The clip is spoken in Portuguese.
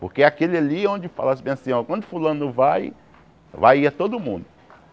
Porque é aquele ali onde falasse bem assim, ó, quando fulano vai, vai ia todo mundo.